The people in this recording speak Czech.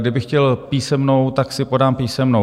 Kdybych chtěl písemnou, tak si podám písemnou.